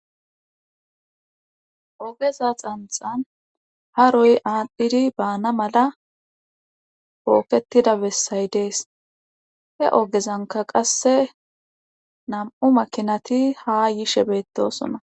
ogeza xanxan ha roy aalhdhidi baana mala pooketida bessay dees he ogezanka qasse nam7u makinati ha yishe beettosona